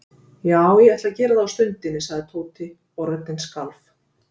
Já, ég ætla að gera það á stundinni sagði Tóti og röddin skalf.